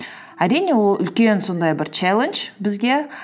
әрине ол үлкен сондай бір челлендж бізге